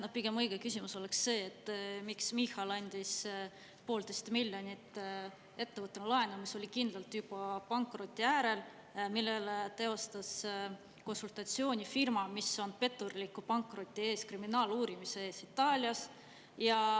No pigem õige küsimus oleks see, et miks Michal andis 1,5 miljonit eurot laenu ettevõttele, mis oli kindlalt juba pankroti äärel ja millele konsultatsiooni firma, mis on petturliku pankroti eest Itaalias kriminaaluurimise all.